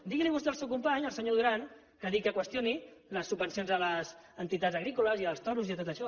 digui li vostè al seu company el senyor duran que qüestioni les subvencions a les entitats agrícoles i als toros i a tot això